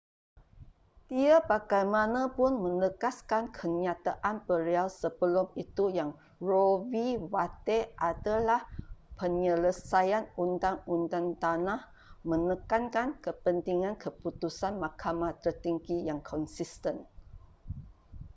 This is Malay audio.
dia bagaimanapun menegaskan kenyataan beliau sebelum itu yang roe v. wade adalah penyelesaian undang-undang tanah”,menekankan kepentingan keputusan mahkamah tertinggi yang konsisten